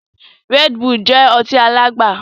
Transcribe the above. Red Bull jẹ ọtí alagba